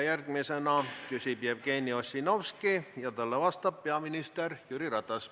Järgmisena küsib Jevgeni Ossinovski ja talle vastab peaminister Jüri Ratas.